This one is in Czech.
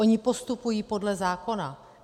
Oni postupují podle zákona.